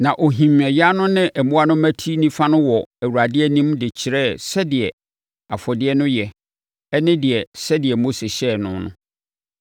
Na ɔhim ayan no ne mmoa no mmati nifa no wɔ Awurade anim de kyerɛɛ sɛ afɔdeɛ no yɛ ne dea sɛdeɛ Mose hyɛeɛ no.